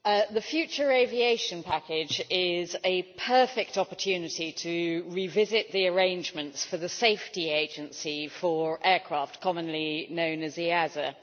Mr President, the future Aviation Package is a perfect opportunity to revisit the arrangements for the Safety Agency for Aircraft, commonly known as EASA.